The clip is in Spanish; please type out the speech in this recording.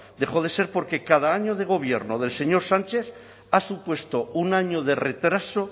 dejó de ser porque cada año de gobierno del señor sánchez ha supuesto un año de retraso